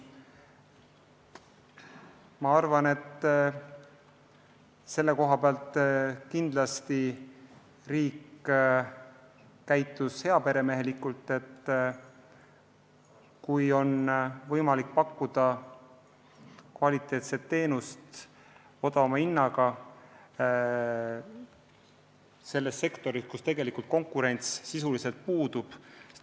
Ma arvan, et riik käitub heaperemehelikult, kui pakub kvaliteetset teenust odavama hinnaga sektoris, kus konkurents sisuliselt puudub.